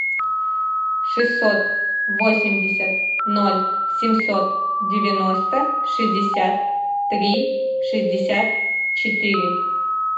шестьсот восемьдесят ноль семьсот девяносто шестьдесят три шестьдесят четыре